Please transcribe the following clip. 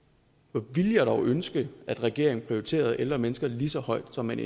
hvor ville jeg dog ønske at regeringen prioriterede ældre mennesker lige så højt som man